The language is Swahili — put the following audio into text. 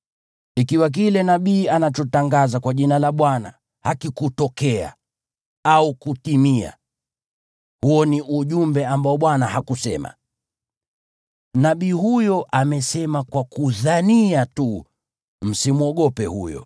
Ikiwa kile nabii anachotangaza kwa jina la Bwana hakikutokea au kutimia, huo ni ujumbe ambao Bwana hakusema. Nabii huyo amesema kwa ujuaji. Msimwogope huyo.